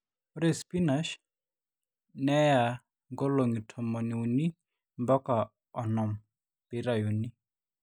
ore sipinash neya nkolong'i tomoniuni mbaka onom pee eitauni